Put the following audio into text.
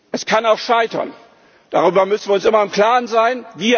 Es kann auch scheitern, darüber müssen wir uns immer im Klaren sein.